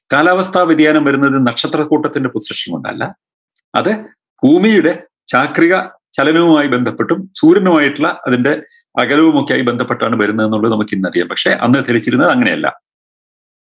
കാലാവസ്ഥ വ്യതിയാനം വരുന്നത് നക്ഷത്രക്കൂട്ടത്തിൻറെ position കൊണ്ടല്ല അത് ഭൂമിയുടെ ചാക്രിക ചലനവുമായ് ബന്ധപ്പെട്ടും സൂര്യനുമായിട്ടുള്ള അതിൻറെ അകലവുമൊക്കെയായ് ബന്ധപ്പെട്ടാണ് വരുന്നെന്നുള്ളത് നമുക്കിന്നറിയാം പക്ഷേ അന്ന് ധരിച്ചിരുന്നത് ഇങ്ങനെയല്ല